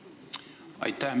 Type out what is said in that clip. Aitäh!